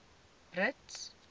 brits